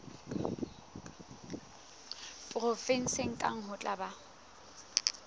provenseng kang ho tla ba